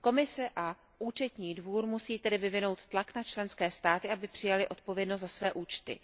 Komise a Účetní dvůr musí tedy vyvinout tlak na členské státy, aby přijaly odpovědnost za své účty.